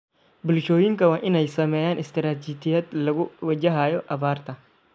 Bulshooyinka waa inay sameeyaan istaraatiijiyad lagu wajahayo abaarta.